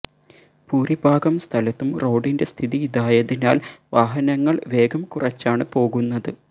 ഭൂരിഭാഗം സ്ഥലത്തും റോഡിന്റെ സ്ഥിതി ഇതായതിനാല് വാഹനങ്ങള് വേഗം കുറച്ചാണ് പോകുന്നത്